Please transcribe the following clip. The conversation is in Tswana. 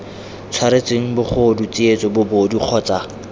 tshwaretsweng bogodu tsietso bobodu kgotsa